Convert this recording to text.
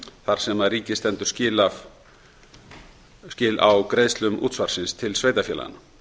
þar sem ríkið stendur skil á greiðslum útsvarsins til sveitarfélaganna